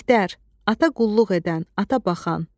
Mehdər, ata qulluq edən, ata baxan.